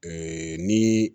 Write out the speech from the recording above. ni